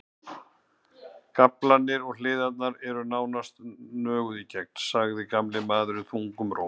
Gaflarnir og hliðarnar eru nánast nöguð í gegn, sagði gamli maðurinn þungum rómi.